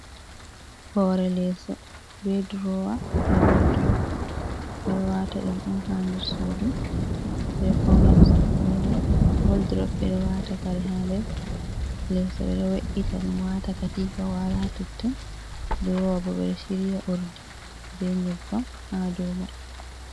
Hore leeso be drowa, be waldrop, ɓe ɗo wata ɗum ha nder suudu, ɓeɗo faunira suudu be mai, woldrop ɓe ɗo wata kare ha nder leso ɓe ɗo we’ita ɗum Watana be katifa wala totton, drowa bo ɓeɗo shiriya urdi be nyebbam ha do mai.